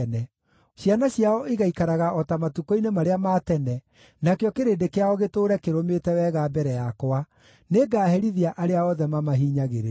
Ciana ciao igaikaraga o ta matukũ-inĩ marĩa ma tene, nakĩo kĩrĩndĩ kĩao gĩtũũre kĩrũmĩte wega mbere yakwa; nĩngaherithia arĩa othe mamahinyagĩrĩria.